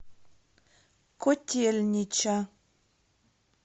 котельнича